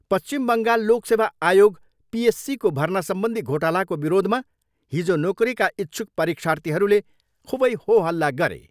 पश्चिम बङ्गाल लोक सेवा आयोग पिएससीको भर्नासम्बन्धी घोटालाको विरोधमा हिजो नोकरीका इच्छुक परीक्षार्थीहरूले खुबै होहल्ला गरे।